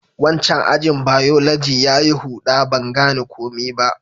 Wancan ajin biology ya yi huda. Ban gane komi ba.